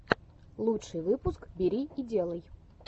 лучший выпуск бери и делай